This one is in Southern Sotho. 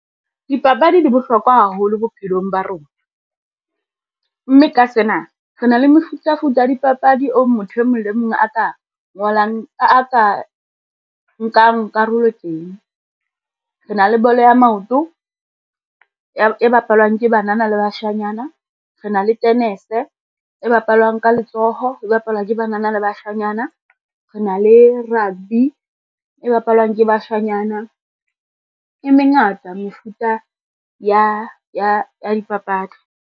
Dipapadi di bohlokwa haholo bophelong ba rona, mme ka sena re na le mefutafuta ya dipapadi o motho e mong le mong a ka nkang karolo teng. Re na le bolo ya maoto e bapalwang ke banana le bashanyana, re na le tenese e bapalwang ka letsoho e bapalwang ke banana le bashanyana, rena le rugby e bapalwang ke bashanyana. E mengata mefuta ya dipapadi.